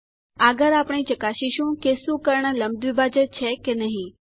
આગળ આપણે ચકાસીશું કે શું કર્ણ લંબ દ્વીભાજક છે કે નહિ